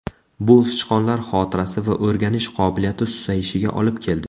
Bu sichqonlar xotirasi va o‘rganish qobiliyati susayishiga olib keldi.